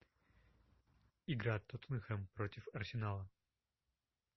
игра тоттенхэм против арсенала